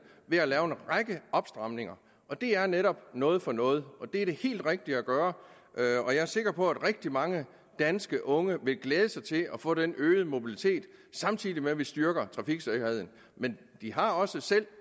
ved at lave en række opstramninger det er netop noget for noget og det er det helt rigtige at gøre og jeg er sikker på at rigtig mange danske unge vil glæde sig til at få den øgede mobilitet samtidig med at vi styrker trafiksikkerheden men de har også selv